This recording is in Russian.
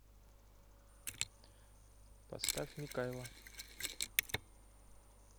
поставь микайла